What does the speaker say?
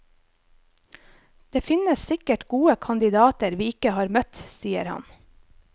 Det finnes sikkert gode kandidater vi ikke har møtt, sier han.